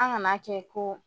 An kan'a kɛ ko